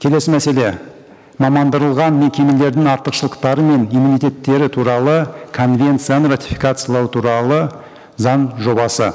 келесі мәселе мекемелердің артықшылықтары мен иммунитеттері туралы конвенцияны ратификациялау туралы заң жобасы